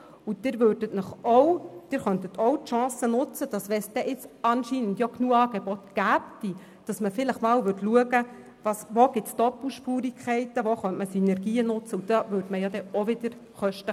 Sollte es tatsächlich genügend Angebote geben, könnten Sie die Chance nutzen, zu prüfen, wo Doppelspurigkeiten bestehen und wo Synergien genutzt werden könnten.